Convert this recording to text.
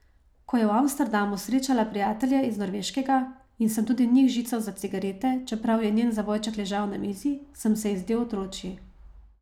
Ko je v Amsterdamu srečala prijatelje z Norveškega in sem tudi njih žical za cigarete, čeprav je njen zavojček ležal na mizi, sem se ji zdel otročji.